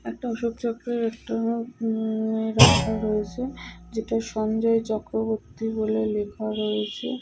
একটা অশোকচক্রের একটা উম রাখা রয়েছে যেটা সঞ্জয় চক্রবর্তী বলে লেখা রয়েছে।